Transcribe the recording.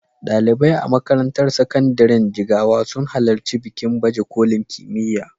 Ɗalibai a makarantar sakandiren Jigawa sun halarci bikin baje kolin kimiyya.